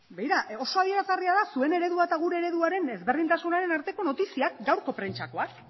begira oso adierazgarria da zuen eredua eta gure ereduaren ezberdintasunaren arteko notiziak gaurko prentsakoak